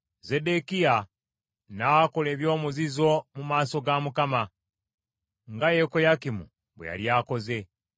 Zeddekiya n’akola eby’omuzizo mu maaso ga Mukama , nga Yekoyakimu bwe yali akoze.